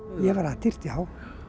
ég var atyrt já